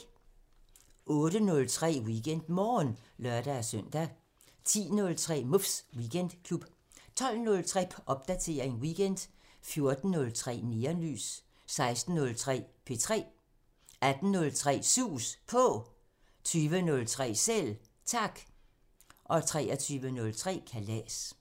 08:03: WeekendMorgen (lør-søn) 10:03: Muffs Weekendklub 12:03: Popdatering weekend 14:03: Neonlys 16:03: P3 18:03: Sus På 20:03: Selv Tak 23:03: Kalas